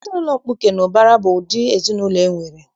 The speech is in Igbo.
Ezinaụlọ mkpuke na ụbara bụ ụdị ezinaụlọ enwere.